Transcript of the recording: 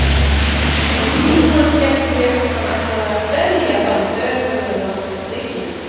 Um tíma hélt ég hann ætlaði að berja þann berhöfðaða með prikinu.